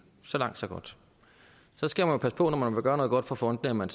så langt så godt så skal man passe på når man vil gøre noget godt for fondene at man